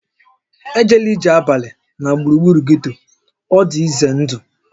E jela ije abalị na gburugburu getto, ọ dị ize ndụ!